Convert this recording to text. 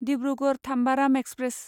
Dibrugarh Tambaram express